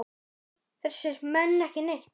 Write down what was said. Heyra þessir menn ekki neitt?